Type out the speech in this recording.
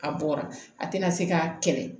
A bɔra a tɛna se k'a kɛlɛ